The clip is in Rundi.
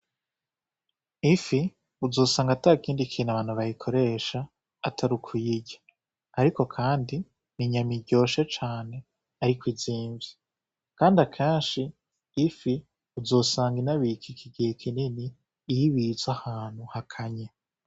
Ifi uzosanga atakindi kintu abantu bayikoresha atari ukuyirya ariko kandi ni inyama iryoshe cane ariko izimvye, kandi akenshi ifi uzosanga inabikika igihe kinini iyo ibitse ahantu hakanye.